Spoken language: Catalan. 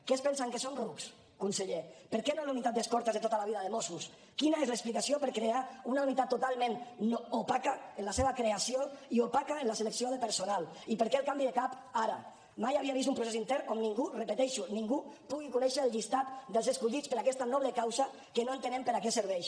que es pensen que som rucs conseller per què no la unitat d’escortes de tota la vida de mossos quina és l’explicació per crear una unitat totalment opaca en la seva creació i opaca en la selecció de personal i per què el canvi de cap ara mai havia vist un procés intern on ningú ho repeteixo ningú pugui conèixer el llistat dels escollits per a aquesta noble causa que no entenem per a què serveix